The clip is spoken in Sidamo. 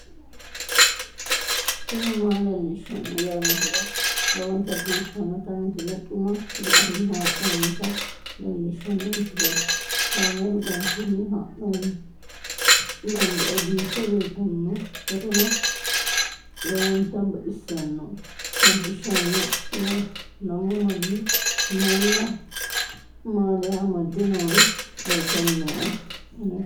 tini maa leelishshanno yaannohura lowonta biiffanota misile xuma gede assine haa'noonnita leellishshanno misileeti kaameru danchunni haa'noonni lamboe biiffe leeeltannoqolten lowonta baxissannoe halchishshanno yaate lamu manni maaliya amadde noori leeltanni nooe anera